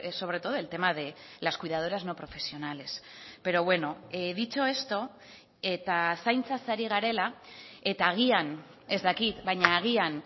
sobre todo el tema de las cuidadoras no profesionales pero bueno dicho esto eta zaintzaz ari garela eta agian ez dakit baina agian